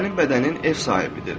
Sənin bədənin ev sahibidir.